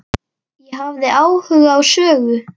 Ég hafði áhuga á sögu